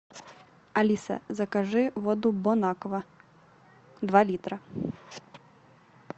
алиса закажи воду бон аква два литра